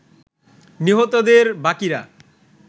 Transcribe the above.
নিহতদের বাকিরা